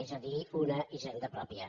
és a dir una hisenda pròpia